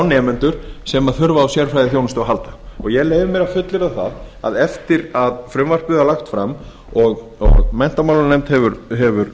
nemendur sem þurfa á sérfærðiþjónstuu að afla ég leyfi mér að fullyrða að aftur að frumvarpið var lagt fram og menntamálanefnd hefur